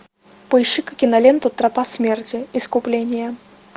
поищи ка киноленту тропа смерти искупление